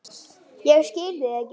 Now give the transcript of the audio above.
Ég skil þig ekki.